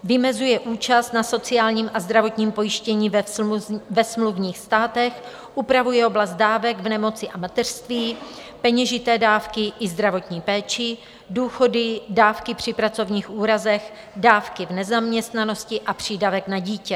Vymezuje účast na sociálním a zdravotním pojištění ve smluvních státech, upravuje oblast dávek v nemoci a mateřství, peněžité dávky i zdravotní péči, důchody, dávky při pracovních úrazech, dávky v nezaměstnanosti a přídavek na dítě.